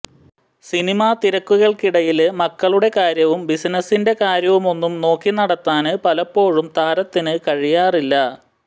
സിനിമാതിരക്കുകള്ക്കിടയില് മക്കളുടെ കാര്യവും ബിസിനസിന്റെ കാര്യവുമൊന്നും നോക്കി നടത്താന് പലപ്പോഴും താരത്തിന് കഴിയാറില്ല